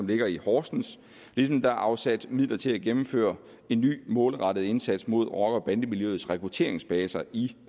ligger i horsens ligesom der er afsat midler til at gennemføre en ny målrettet indsats mod rockere bande miljøets rekrutteringsbaser i